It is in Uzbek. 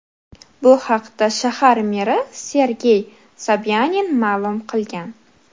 Bu haqda shahar meri Sergey Sobyanin ma’lum qilgan .